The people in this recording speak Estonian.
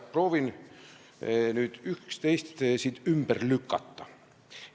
Proovin nüüd üht-teist ümber lükata.